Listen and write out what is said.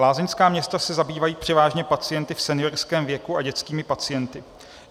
Lázeňská města se zabývají převážně pacienty v seniorském věku a dětskými pacienty.